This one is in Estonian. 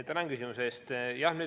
Tänan küsimuse eest!